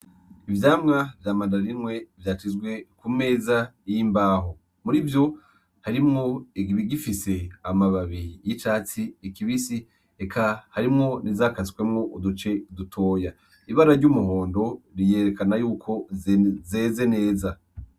Ivyamwa vya mandarine vyashizwe ku meza y'imbaho, muri vyo harimwo ibigifise amababi y'icatsi kibisi, eka harimwo n'izakasemwo uduce dutoya, ibara ry'umuhondo ryerakana yuko zeze neza.